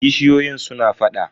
kishiyoyin suna faɗa.